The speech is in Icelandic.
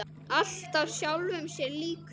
Alltaf sjálfum sér líkur.